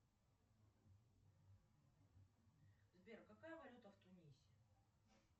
сбер какая валюта в тунисе